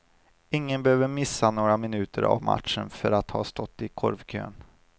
Ingen behöver missa några minuter av matchen för att ha stått i korvkön.